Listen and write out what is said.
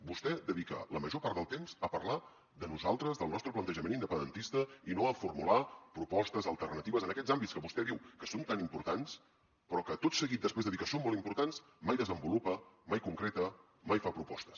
vostè dedica la major part del temps a parlar de nosaltres del nostre plantejament independentista i no a formular propostes alternatives en aquests àmbits que vostè diu que són tan importants però que tot seguit després de dir que són molt importants mai desenvolupa mai concreta mai fa propostes